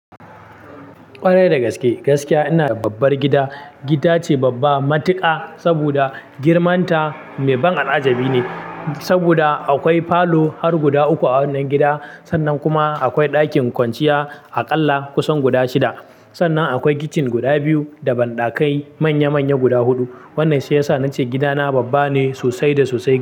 Ƙwarai da gaske, gaskiya ina babbar gida. Gida ce babba, matuƙa sabida girman ta mai ban al'ajabi ne sabida akwai falo har guda uku a wannan gida. Sannan kuma akwai ɗakin kwanciya aƙalla kusan guda shida. Sannan akwai kitchen guda biyu da banɗakai manya-manya guda huɗu. Wannan shi yasa nace gidana babba ne sosai da sosai.